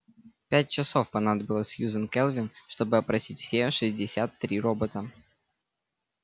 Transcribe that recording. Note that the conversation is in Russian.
пять часов понадобилось сьюзен кэлвин чтобы опросить все шестьдесят три робота